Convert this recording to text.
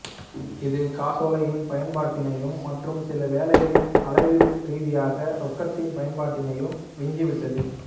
இது காசோலையின் பயன்பாட்டினையும் மற்றும் சில வேளைகளில் அளவீடு ரீதியாக ரொக்கத்தின் பயன்பாட்டினையும் விஞ்சி விட்டது